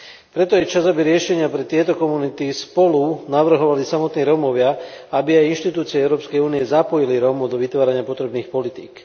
Preto je čas, aby riešenia pre tieto komunity spolu navrhovali samotní Rómovia a aby aj inštitúcie Európskej únie zapojili Rómov do vytvárania potrebných politík.